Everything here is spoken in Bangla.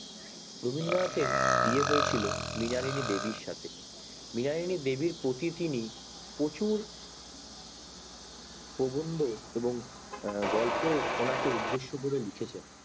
রবীন্দ্রনাথ এর বিয়ে হয়েছিলো মৃণালিনী দেবীর সাথে মৃণালিনী দেবীর প্রতি তিনি প্রচুর প্রবন্ধ ও গল্প ওনাকে উদেশ্য করে লিখেছেন